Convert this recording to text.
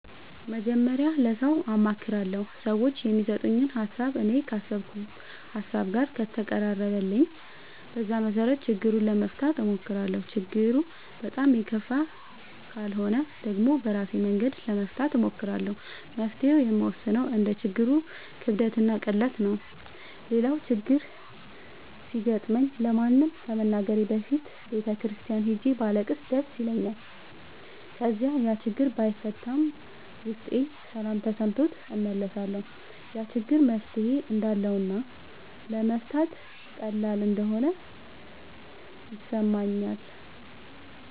መጀመሪያ ለሠው አማክራለሁ። ሠዎቹ የሚሠጡኝ ሀሣብ እኔ ካሠብኩት ሀሳብ ጋር ከተቀራረበልኝ በዛ መሠረት ችግሩን ለመፍታት እሞክራለሁ። ችግሩ በጣም የከፋ ካልሆነ ደግሞ በራሴ መንገድ ለመፍታት እሞክራለሁ። መፍትሔውን የምወስነው እንደ ችግሩ ክብደትና ቅለት ነው። ሌላው ችግር ሲገጥመኝ ለማንም ከመናገሬ በፊት ቤተ ክርስቲያን ሄጄ ባለቅስ ደስ ይለኛል። ከዚያ ያችግር ባይፈታም ውስጤ ሠላም ተሠምቶት እመለሳለሁ። ያ ችግር መፍትሔ እንዳለውና ለመፍታት ቀላል እንደሆነ ይሠማኛል።